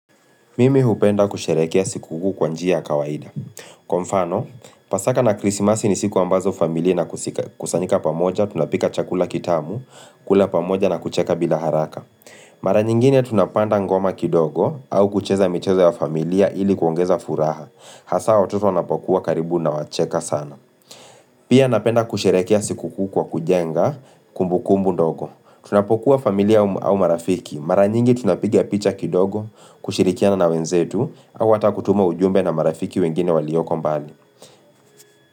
Mimi hupenda kusherehekea sikukuu kwa njia ya kawaida. Kwa mfano, pasaka na krisimasi ni siku ambazo familia inakusika kusanyika pamoja, tunapika chakula kitamu, kula pamoja na kucheka bila haraka. Mara nyingine tunapanda ngoma kidogo au kucheza michezo ya familia ili kuongeza furaha. Hasa watoto wanapokuwa karibu nawacheka sana. Pia napenda kusherehekea sikukuu kwa kujenga kumbukumbu ndogo. Tunapokuwa familia au marafiki. Mara nyingi tunapiga picha kidogo, kushirikiana na wenzetu, au hata kutuma ujumbe na marafiki wengine walioko mbali.